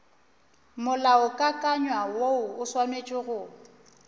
molaokakanywa woo o swanetše go